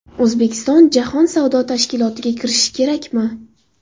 O‘zbekiston jahon savdo tashkilotiga kirishi kerakmi?.